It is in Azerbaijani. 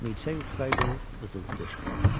Milçək uçsaydı, vızıltısı eşidilərdi.